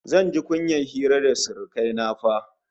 Zan ji kunyar hira da surukai na fa!